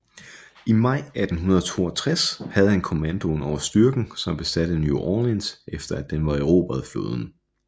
I maj 1862 havde han kommandoen over styrken som besatte New Orleans efter at den var erobret af flåden